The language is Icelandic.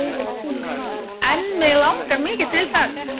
En mig langar mikið til þess.